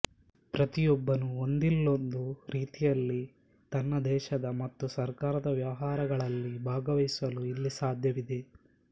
ಪ್ರತಿಯೊಬ್ಬನೂ ಒಂದಿಲ್ಲೊಂದು ರೀತಿಯಲ್ಲಿ ತನ್ನ ದೇಶದ ಮತ್ತು ಸರ್ಕಾರದ ವ್ಯವಹಾರಗಳಲ್ಲಿ ಭಾಗವಹಿಸಲು ಇಲ್ಲಿ ಸಾಧ್ಯವಿದೆ